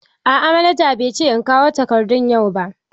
A'a manaja bai ce in kawo takardun yau ba.